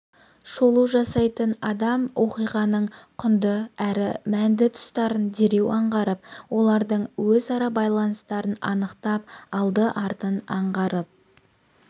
шолу жасайтын адам оқиғаның құнды әрі мәнді тұстарын дереу аңғарып олардың өзара байланыстарын анықтап алды-артын аңғарып